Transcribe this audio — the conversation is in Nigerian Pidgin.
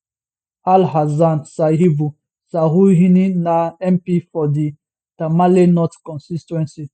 alhassan sayibu suhuyini na mp for di tamale north constituency